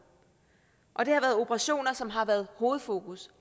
og det har været operationer som har været hovedfokus